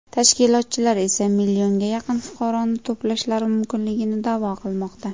Tashkilotchilar esa millionga yaqin fuqaroni to‘plashlari mumkinligini da’vo qilmoqda.